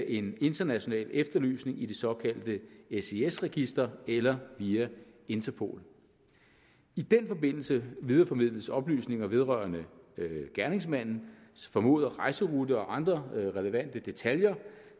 en international efterlysning i det såkaldte sis register eller via interpol i den forbindelse videreformidles oplysninger vedrørende gerningsmandens formodede rejserute og andre relevante detaljer